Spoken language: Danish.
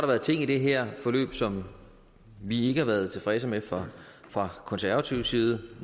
været ting i det her forløb som vi ikke har været tilfredse med fra fra konservativ side